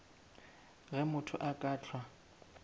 ge motho a ka hlwa